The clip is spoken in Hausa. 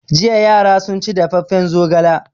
Jiya yara sun ci dafaffen zogala.